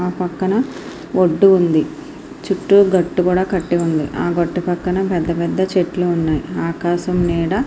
ఆ పక్కన ఒడ్డు కూడా ఉంది. చుట్టూ గట్టు గట్టు ఉంది. ఆ గట్టు పక్కన పెద్ద చెట్లు ఉన్నాయి. ఆకాశం నీడ--